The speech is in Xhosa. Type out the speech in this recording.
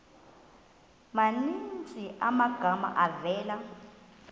maninzi amagama avela